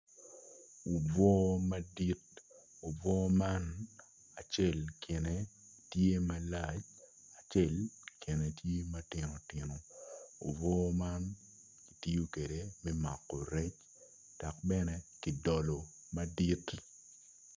Obwo madit obwo man acel kine tye malac acel kine tye matino tino obwo man kitiyo kwede me mako rec dok bene kidolo madit.